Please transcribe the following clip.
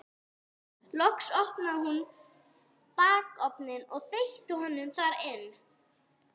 Loks opnaði hún bakarofninn og þeytti honum þar inn.